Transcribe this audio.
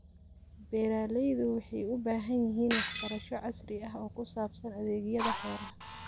Beeralaydu waxay u baahan yihiin waxbarasho casri ah oo ku saabsan adeegyada xoolaha.